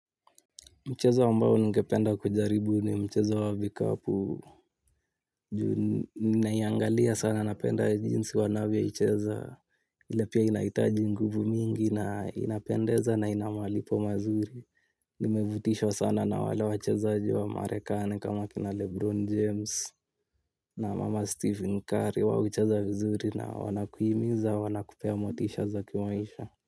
Mchezo ambao ningependa kujaribu ni mchezo wa vikapu, juu ninaiangalia sana napenda jinsi wanavyoicheza, ila pia inaitaji nguvu mingi, inapendeza na ina malipo mazuri. Nimevutishwa sana na wale wachezaji wa marekani kama kina Lebron James na mama Stephen Curry, huwa hucheza vizuri na wanakuhimiza, wanakupea motisha za kimaisha.